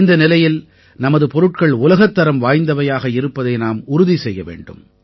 இந்த நிலையில் நமது பொருட்கள் உலகத்தரம் வாய்ந்தவையாக இருப்பதை நாம் உறுதி செய்ய வேண்டும்